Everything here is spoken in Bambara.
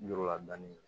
Yɔrɔ la dɔɔnin